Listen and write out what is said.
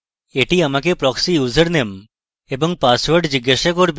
এটি আমাকে proxy username এবং পাসওয়ার্ড জিজ্ঞাসা করবে